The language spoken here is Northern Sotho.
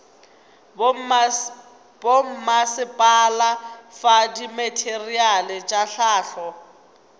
bommasepala fa dimateriale tša hlahlo